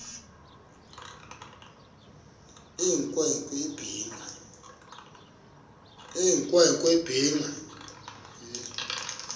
eyinkwe nkwe ebhinqe